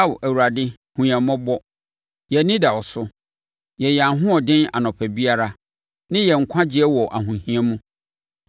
Ao Awurade, hunu yɛn mmɔbɔ; yɛn ani da wo so. Yɛ yɛn ahoɔden anɔpa biara, ne yɛn nkwagyeɛ wɔ ahohia mu.